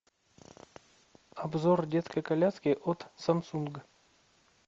обзор детской коляски от самсунг